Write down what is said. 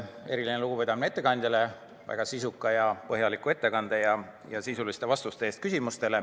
Eriline lugupidamine ettekandjale väga sisuka ja põhjaliku ettekande ja sisuliste vastuste eest.